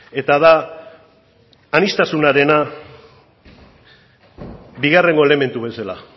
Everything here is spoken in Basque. eta da aniztasunarena bigarren elementu bezala